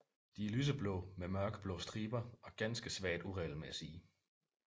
De er lyseblå med mørkeblå striber og ganske svagt uregelmæssige